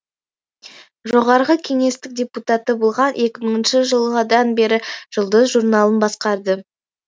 жоғарғы кеңестің депутаты болған екі мыңыншы жылдан бері жұлдыз журналын басқарды